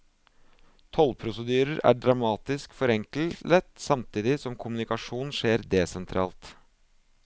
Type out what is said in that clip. Tollprosedyrer er dramatisk forenklet, samtidig som kommunikasjonen skjer desentralt.